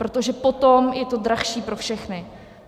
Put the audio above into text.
Protože potom je to dražší pro všechny.